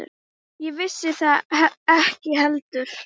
Ég vissi það ekki heldur.